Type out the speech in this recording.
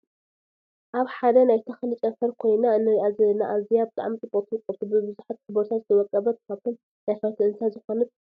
ኣብ ሓደ ናይ ተክሊ ጨንፈር ካይነ እንርእያ ዘለና ኣዝያ ብጣዕሚ ፅብቅቲ ውቅብቲ ብብዙሓት ሕብርታት ዝወቀበት ካብቶም ነፈርቲ እንስሳ ዝኮነት ፅምብላሊዕ እያ።